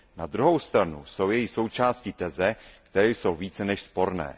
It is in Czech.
Na druhou stranu jsou její součástí teze, které jsou více než sporné.